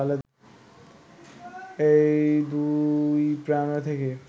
এই দুই প্রেরণা থেকেই